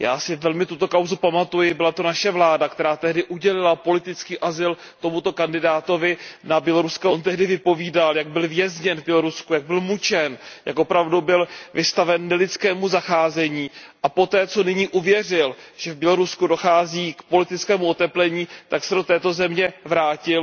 Já si velmi tuto kauzu pamatuji, byla to naše vláda, která tehdy udělila politický azyl tomuto kandidátovi na běloruského prezidenta. On tehdy vypovídal, jak byl vězněn v Bělorusku, jak byl mučen, jak opravdu byl vystaven nelidskému zacházení a poté, co nyní uvěřil, že v Bělorusku dochází k politickému oteplení, tak se do této země vrátil.